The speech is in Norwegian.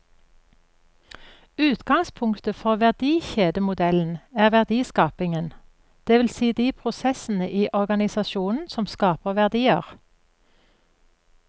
Utgangspunktet for verdikjedemodellen er verdiskapingen, det vil si de prosessene i organisasjonen som skaper verdier.